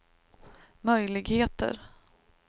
möjligheter